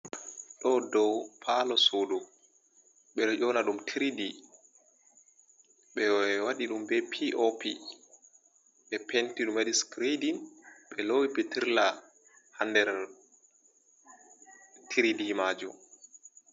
Ɗo ɗow palo suɗu. Ɓe ɗo yona ɗum tiriɗi. Ɓe waɗi ɗum ɓe piopi, ɓe penti ɗum ɓe waɗi sikiredin. Ɓe lowi pitirrla ha nɗer triɗi majum.